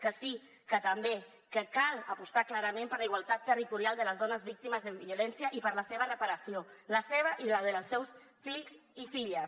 que sí que també que cal apostar clarament per la igualtat territorial de les dones víctimes de violència i per la seva reparació la seva i la dels seus fills i filles